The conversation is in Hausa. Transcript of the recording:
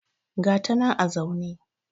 ga ta nan a zaune